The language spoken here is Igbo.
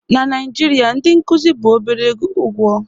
na Naijirịa ndị nkuzi bụ obere ụgwọ